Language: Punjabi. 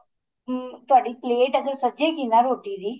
ਹਮ ਤੁਹਾਡੀ ਪਲੇਟ ਇਹ ਜੀ ਸਜੀ ਗੀ ਨਾ ਰੋਟੀ ਦੀ